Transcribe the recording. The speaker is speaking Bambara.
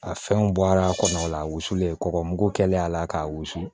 A fɛnw bɔra a kɔnɔ o la a wusulen kɔgɔmugu kɛlen a la k'a wusu